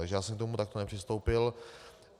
Takže já jsem k tomu takto nepřistoupil.